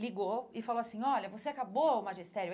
Ligou e falou assim, olha, você acabou o magistério?